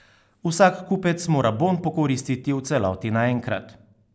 Vsak kupec mora bon pokoristiti v celoti naenkrat.